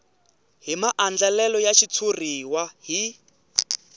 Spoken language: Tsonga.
hi maandlalelo ya xitshuriwa hi